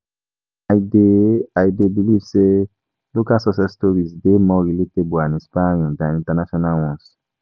I dey I dey believe say local success stories dey more relatable and inspiring than international ones.